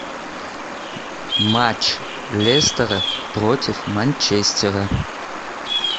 матч лестера против манчестера